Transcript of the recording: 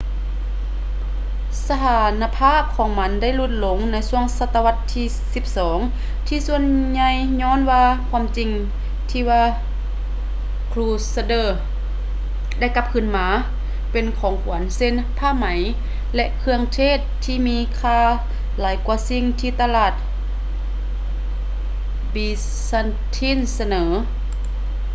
ສະຖານະພາບຂອງມັນໄດ້ຫຼຸດລົງໃນຊ່ວງສະຕະວັດທີສິບສອງທີ່ສ່ວນໃຫຍ່ຍ້ອນວ່າຄວາມຈິງທີ່ວ່າ crusaders ໄດ້ກັບຄືນມາເປັນຂອງຂວັນເຊັ່ນ ຜ້າໄໝ ແລະ ເຄື່ອງເທດທີ່ມີຄ່າຫຼາຍກວ່າສິ່ງທີ່ຕະຫຼາດ byzantine ສະເໜີ